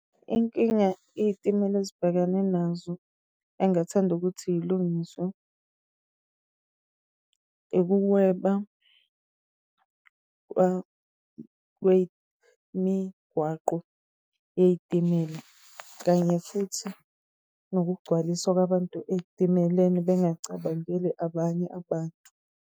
Inkinga iy'timela ezibhekene nazo engathanda ukuthi yilungiswe, ukuweba kwemigwaqo yey'timela, kanye futhi ngokugcwaliswa kwabantu eyitimeleni bengacabangeli abanye abantu.